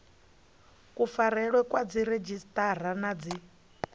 kufarelwe kwa dziredzhisiṱara na dzi